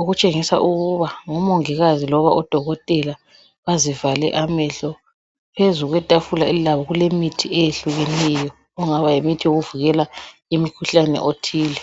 okutshengisa ukuba ngomongikazi loba odokotela, bazivale amehlo. Phezu kwetafula kulemithi eyehlukeneyo ongaba yimithi yokuvikela imikhuhlane othile.